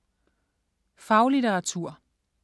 Faglitteratur